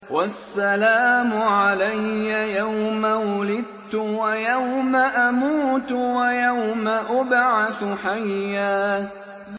وَالسَّلَامُ عَلَيَّ يَوْمَ وُلِدتُّ وَيَوْمَ أَمُوتُ وَيَوْمَ أُبْعَثُ حَيًّا